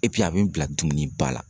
a be n bila dumuniba la.